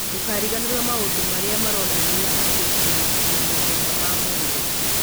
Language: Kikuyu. Ndũkariganĩrũo maũndũ marĩa maronania atĩ ũrĩ na mathĩna ma mwĩrĩ.